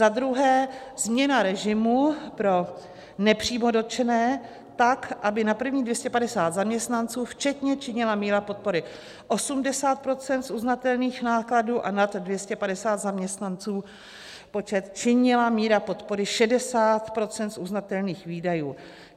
Za druhé, změna režimu pro nepřímo dotčené tak, aby na prvních 250 zaměstnanců včetně činila míra podpory 80 % z uznatelných nákladů a nad 250 zaměstnanců činila míra podpory 60 % z uznatelných výdajů.